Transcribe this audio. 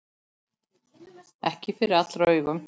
Ekki fyrir allra augum.